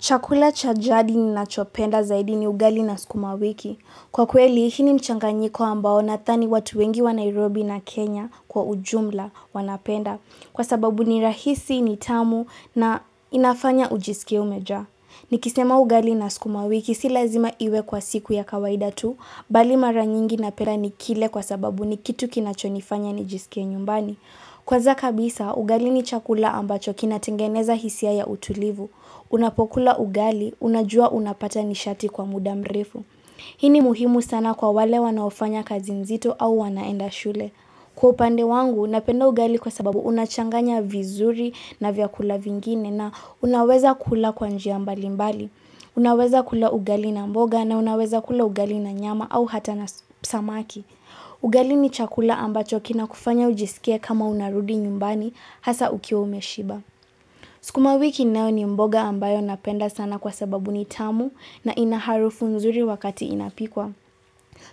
Chakula cha jadi ninachopenda zaidi ni ugali na skumawiki. Kwa kweli, hii ni mchanganyiko ambao nathani watu wengi wa Nairobi na Kenya kwa ujumla wanapenda. Kwa sababu ni rahisi ni tamu na inafanya ujisikie umeja. Nikisema ugali na skumawiki si lazima iwe kwa siku ya kawaida tu, bali mara nyingi napera ni kile kwa sababu ni kitu kinachonifanya ni jisikie nyumbani. Kwanza kabisa, ugali ni chakula ambacho kinatengeneza hisia ya utulivu. Unapokula ugali, unajua unapata nishati kwa muda mrifu Hii ni muhimu sana kwa wale wanaofanya kazi nzito au wanaenda shule Kwa upande wangu, napenda ugali kwa sababu unachanganya vizuri na vyakula vingine na unaweza kula kwa njia mbalimbali mbali Unaweza kula ugali na mboga na unaweza kula ugali na nyama au hata na samaki ugali ni chakula ambacho kinakufanya ujisikie kama unarudi nyumbani hasa ukiwa umeshiba Sikuma wiki nao ni mboga ambayo napenda sana kwa sababu ni tamu na ina harufu nzuri wakati inapikwa.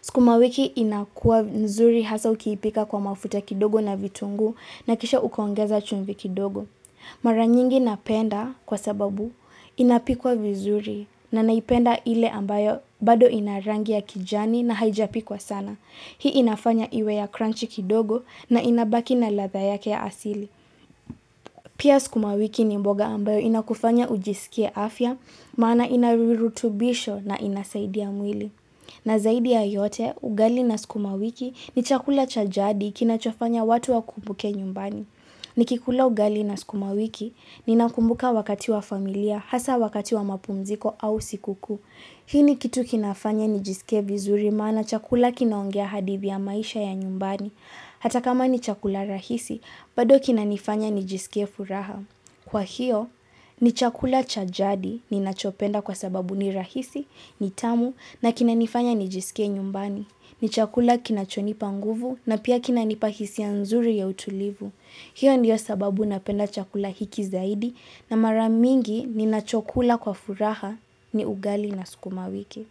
Skuma wiki inakua nzuri hasa ukiipika kwa mafuta kidogo na vitungu na kisha ukoongeza chumvi kidogo. Maranyingi napenda kwa sababu inapikwa vizuri na naipenda ile ambayo bado ina rangi ya kijani na haijapikwa sana. Hii inafanya iwe ya crunch kidogo na inabaki na latha yake ya asili. Pia skumawiki ni mboga ambayo inakufanya ujisikie afya, maana inarirutubisho na inasaidia mwili. Na zaidi ya yote, ugali na skumawiki ni chakula cha jadi kinachofanya watu wakumbuke nyumbani. Nikikula ugali na skumawiki, ninakumbuka wakati wa familia, hasa wakati wa mapumziko au sikukuu. Hii ni kitu kinafanya nijisike vizuri maana chakula kinaongea hadithi ya maisha ya nyumbani. Hata kama ni chakula rahisi, bado kinanifanya nijisike furaha. Kwa hiyo, ni chakula cha jadi ninachopenda kwa sababu ni rahisi, ni tamu na kinanifanya nijisikie nyumbani. Ni chakula kinachonipa nguvu na pia kinanipa hisia nzuri ya utulivu. Hiyo ndiyo sababu napenda chakula hiki zaidi na mara mingi ninachokula kwa furaha ni ugali na sukuma wiki.